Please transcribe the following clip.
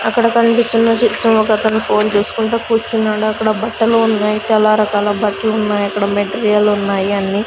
అక్కడ కన్పిస్తున్న చిత్రం ఒకతను ఫోన్ చూసుకుంటూ కూర్చున్నాడు అక్కడ బట్టలు ఉన్నాయ్ చాలా రకాల బట్లు ఉన్నాయి అక్కడ మెటీరియల్ లు ఉన్నాయి అన్నీ --